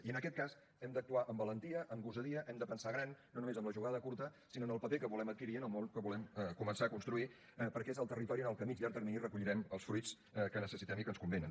i en aquest cas hem d’actuar amb valentia amb gosadia hem de pensar gran no només en la jugada curta sinó en el paper que volem adquirir en el món que volem començar a construir perquè és el territori en què a mitjà o llarg termini recollirem els fruits que necessitem i que ens convenen